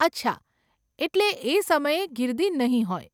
અચ્છા, એટલે એ સમયે ગીર્દી નહીં હોય.